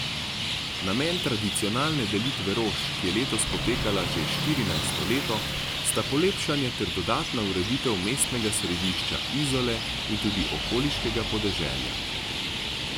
Namen tradicionalne delitve rož, ki je letos potekala že štirinajsto leto, sta polepšanje ter dodatna ureditev mestnega središča Izole in tudi okoliškega podeželja.